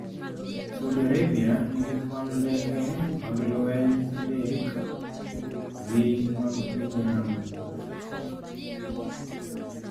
Saudi Arabia nigi kwan ndeke mag lweny adekal gi mag piny Iran.